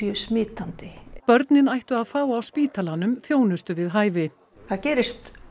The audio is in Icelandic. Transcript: smitandi börnin ættu að fá á spítalanum þjónustu við hæfi það gerist